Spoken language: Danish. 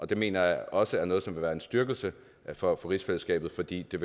det mener jeg også er noget som vil være en styrkelse for rigsfællesskabet fordi det